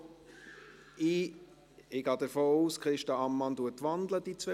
– Ich gehe davon aus, dass Christa Ammann die beiden Punkte wandelt.